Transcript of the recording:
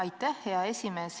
Aitäh, hea esimees!